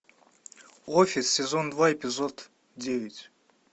офис сезон два эпизод девять